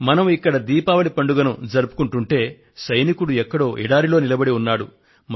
మనం ఇక్కడ దీపావళి పండుగను జరుపుకొంటూ ఉంటే సైనికుడు ఎక్కడో ఎడారిలో నిలబడి ఉన్నాడు